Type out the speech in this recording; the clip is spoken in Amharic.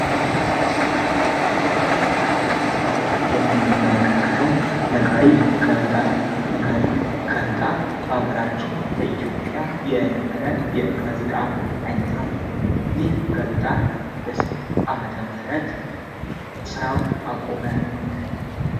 ይህ በምስሉ ላይ የምንመለከተው ነጋሪት ጋዜጣ ነው። ነጋሪት ጋዜጣ በአገራችን በኢትዮጵያ የነበረ የጋዜጣ አይነት ነው። ጋዜጣ በስንት አመተ ምህረት ስራውን አቁመ።